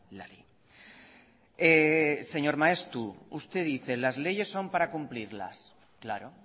la ley señor maeztu usted dice que las leyes son para cumplirlas claro